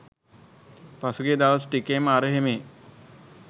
පහුගිය දවස් ටිකේම අරහේ මෙහේ